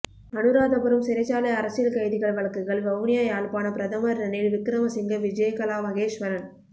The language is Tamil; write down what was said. அனுராதபுரம் சிறைச்சாலை அரசியல் கைதிகள் வழக்குகள் வவுனியாயாழ்ப்பாணம் பிரதமர் ரணில் விக்கிரமசிங்க விஜயகலா மகேஸ்வரன்